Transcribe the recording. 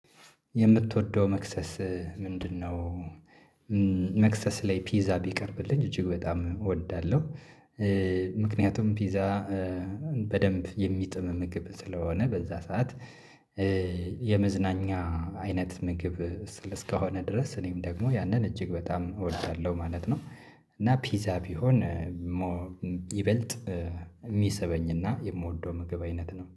የምትወደው መክሰስ ምንድነው? መክሰስ ላይ ፒዛ ቢቀርብልኝ እጅግ በጣም እወዳለሁ። ምክንያቱም ፒዛ በደንብ የሚጥም ምግብ ስለሆነ በዛ ሰዓት የመዝናኛ አይነት ምግብ እስከሆነ ድረስ እኔም ደግሞ ያንን እጅግ በጣም እወዳለሁ ማለት ነው። እና ፒዛ ቢሆን ሞር ይበልጥ የሚሰበኝና የምወደው ምግብ አይነት ነው